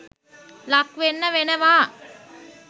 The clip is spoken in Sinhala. ලක් වෙන්න වෙනවා